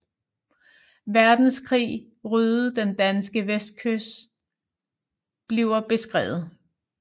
Verdenskrig ryddede den danske vestkyst bliver beskrevet